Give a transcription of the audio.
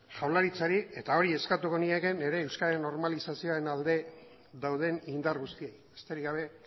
jaurlaritzari eta hori eskatuko niekeen nire euskararen normalizazioaren alde dauden indar guztiei besterik gabe